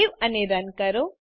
save અને run કરો